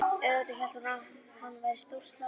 Auðvitað hélt hún að hann væri stórslasaður!